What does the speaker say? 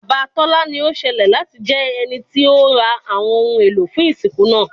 Baba Tola ni o ṣẹlẹ lati jẹ ẹniti o ra awọn ohun elo fun isinku naa